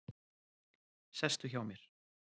Sestu hjá mér.